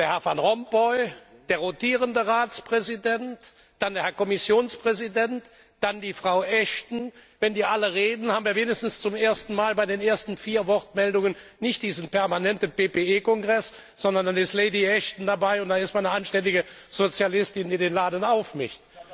Herr Van Rompuy, der rotierende Ratspräsident, dann der Kommissionspräsident, dann Frau Ashton wenn die alle reden, haben wir wenigstens zum ersten Mal bei den ersten vier Wortmeldungen nicht diesen permanenten PPE Kongress, sondern dann ist Lady Ashton dabei und damit eine anständige Sozialistin, die den Laden aufmischt.